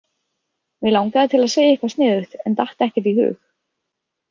Mig langaði til að segja eitthvað sniðugt en datt ekkert í hug.